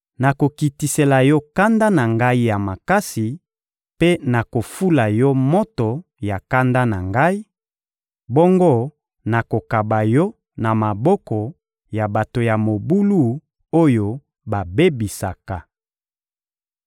Nakokitisela yo kanda na Ngai ya makasi mpe nakofula yo moto ya kanda na Ngai; bongo nakokaba yo na maboko ya bato ya mobulu oyo babebisaka.